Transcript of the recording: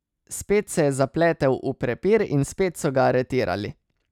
Spet se je zapletel v prepir in spet so ga aretirali.